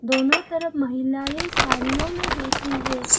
दोनों तरफ महिलाएं सारियों में बैठी है।